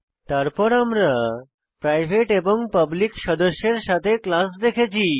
তারপর আমরা প্রাইভেট এবং পাবলিক সদস্যের সাথে ক্লাস দেখেছি